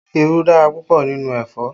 Irú dára púpọ̀ nínú ẹ̀fọ́